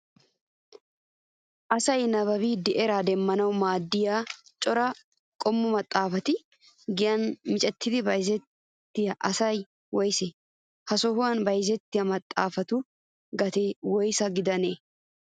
Asay nababbidi eraa demmanawu maaddiyaa cora qommo maxaapata giyaan miccidi bayizziyaa asayi woyisee? Ha sohan bayizettiyaa maxaapatu gatee woyisa gidanee?